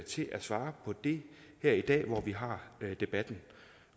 til at svare på det her i dag hvor vi har debatten